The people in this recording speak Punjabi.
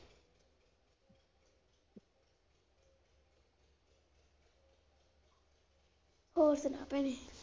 ਹੋਰ ਸੁਣਾ ਭੈਣੇ?